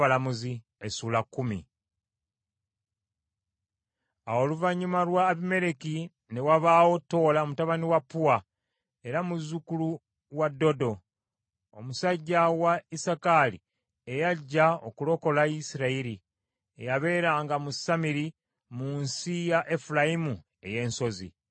Awo oluvannyuma lwa Abimereki, ne wabaawo Toola mutabani wa Puwa, era muzzukulu wa Dodo, omusajja wa Isakaali eyajja okulokola Isirayiri, eyabeeranga mu Samiri mu nsi ya Efulayimu ey’ensozi.